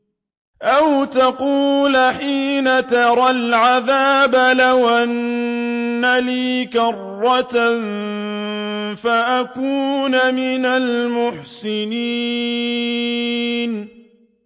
أَوْ تَقُولَ حِينَ تَرَى الْعَذَابَ لَوْ أَنَّ لِي كَرَّةً فَأَكُونَ مِنَ الْمُحْسِنِينَ